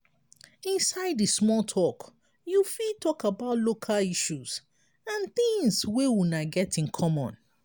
inside di small talk you fit talk about local issues and things wey una get in common